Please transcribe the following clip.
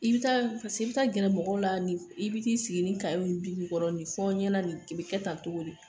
I bi taa paseke i bi taa gɛrɛ mɔgɔw la nin i bi taa sigi nin fɔ ɲɛna nin bi kɛ tan cogo di ?